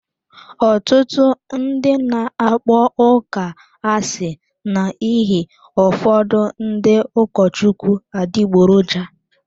Ọtụtụ ndị na-akpọ ụka asị n'ihi ụfọdụ ndị ụkọchukwu adịgboroja.